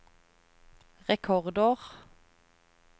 rekordår